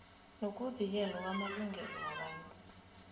nokuvikelwa kwamalungelo wabantu